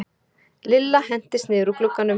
Lilla hentist niður úr glugganum.